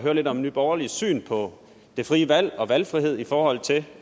lidt om nye borgerliges syn på det frie valg og valgfrihed i forhold til